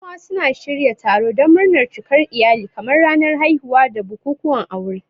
Yan uwa suna shirya taro don murnar cikar iyali kamar ranar haihuwa da bukukuwan aure.